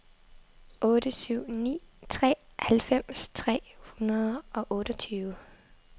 otte syv ni tre halvfems tre hundrede og otteogtyve